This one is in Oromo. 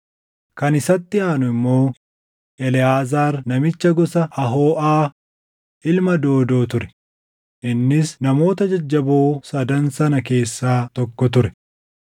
Kan isatti aanu immoo Eleʼaazaar namicha gosa Ahooʼaa, ilma Doodoo ture; innis namoota jajjaboo sadan sana keessaa tokko ture.